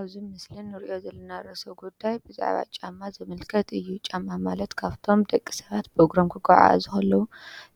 እብዚ ምስሊ እንሪኦ ዘለና ርእሰ ጉዳይ ብዛዕባ ጫማ ዝምልከት እዩ ።ጫማ ማለት ካብቶም ደቂ ሰባት ብእግሮም ክጎዓዓዘ ከለው